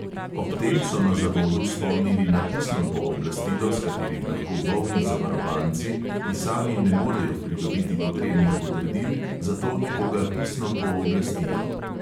Ob tem so na zavodu spomnili na pisno pooblastilo, s katerim lahko bolni zavarovanci, ki sami ne morejo pridobiti potrebnih potrdil, za to nekoga pisno pooblastijo.